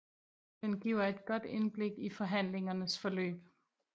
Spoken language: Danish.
Den giver et godt indblik i forhandlingernes forløb